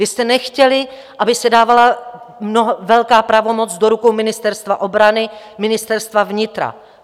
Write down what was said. Vy jste nechtěli, aby se dávala velká pravomoc do rukou Ministerstva obrany, Ministerstva vnitra.